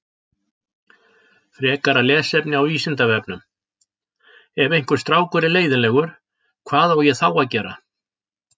Frekara lesefni á Vísindavefnum Ef einhver strákur er leiðinlegur, hvað á ég þá að gera?